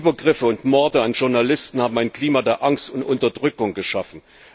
Die Übergriffe und Morde an Journalisten haben ein Klima der Angst und Unterdrückung geschaffen.